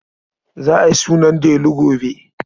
Za a yi sunan Delu gobe.